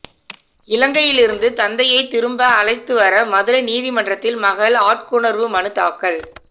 இலங்கையிலிருந்து தந்தையை திரும்ப அழைத்துவர மதுரை நீதிமன்றில் மகள் ஆட்கொணர்வு மனு தாக்கல்